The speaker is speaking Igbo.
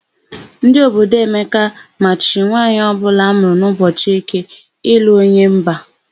Ndị obodo Emeka machiri nwaanyị ọbụla amụrụ n'ụbọchị Eke ịlụ onye mba.